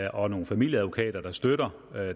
og nogle familieadvokater der støtter